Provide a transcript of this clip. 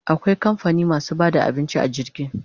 Akwai kamfani masu bada abinci a jirgi